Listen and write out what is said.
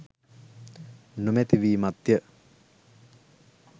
නොමැති වීමත්ය.